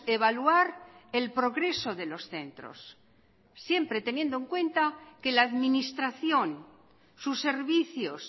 evaluar el progreso de los centros siempre teniendo en cuenta que la administración sus servicios